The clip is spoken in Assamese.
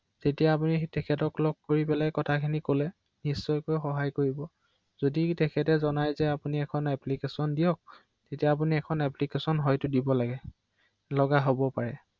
হয়